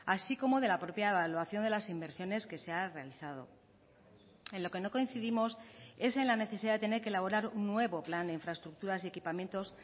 así como de la propia evaluación de las inversiones que se ha realizado en lo que no coincidimos es en la necesidad de tener que elaborar un nuevo plan de infraestructuras y equipamientos